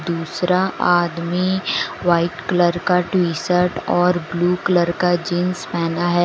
दूसरा आदमी white colour का टी शर्ट और ब्लू कलर का जींस पहना है।